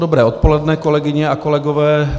Dobré odpoledne, kolegyně a kolegové.